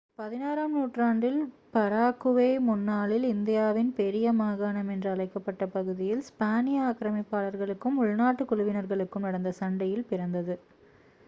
16 ம் நூற்றாண்டுல் பராகுவே முன்னாளில் இந்தியாவின் பெரிய மாகாணம் என்று அழைக்கப் பட்ட பகுதியில் ஸ்பானிய ஆக்கிரமிப்பாளர்களுக்கும் உள்நாட்டுக் குழுக்களுக்கும் நடந்த சண்டையில் பிறந்தது